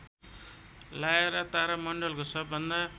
Lyra तारामण्डलको सबभन्दा